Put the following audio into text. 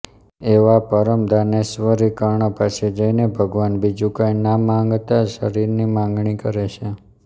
એવા પરમ દાનેશ્વરી કર્ણ પાસે જઈને ભગવાન બીજું કઇં ના માગતાં શરીરની માગણી કરે છે